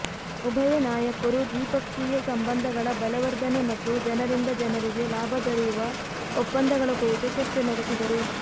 ಉಭಯ ನಾಯಕರು ದ್ವಿಪಕ್ಷೀಯ ಸಂಬಂಧಗಳ ಬಲವರ್ಧನೆ ಮತ್ತು ಜನರಿಂದ ಜನರಿಗೆ ಲಾಭ ದೊರೆಯುವ ಒಪ್ಪಂದಗಳ ಕುರಿತು ಚರ್ಚೆ ನಡೆಸಿದರು